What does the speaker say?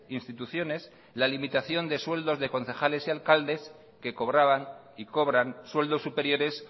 instituciones la limitación de sueldos de concejales y alcaldes que cobraban y cobran sueldos superiores